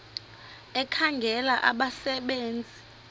ekhangela abasebe nzi